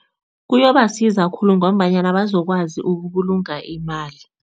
Kuyobasiza khulu ngombanyana bazokwazi ukubulunga imali.